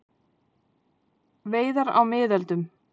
Veiðar á miðöldum.